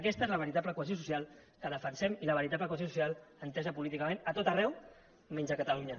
aquesta és la veritable cohesió social que defensem i la veritable cohesió social entesa políticament a tot arreu menys a catalunya